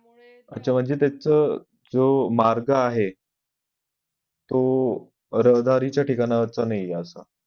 आच्छा म्हणजे त्याच जो मार्ग आहे तो रहदारीच्या ठिकाणावर नाही असं